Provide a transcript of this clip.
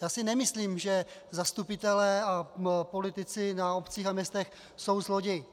Já si nemyslím, že zastupitelé a politici na obcích a městech jsou zloději.